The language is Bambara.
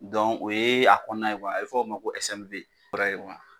Dɔn o ye a kɔnɔna ye kuwa a be f'o ma ko ɛsɛniwe bɛrɛ ye kuwa